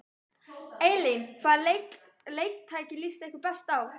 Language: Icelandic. Elín: Hvaða leiktæki líst ykkur best á?